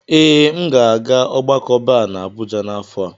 Ee, m ga-aga ogbako Bar na Abuja n'afọ a.